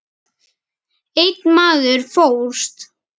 Einn maður fórst.